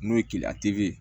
N'o ye keleya ye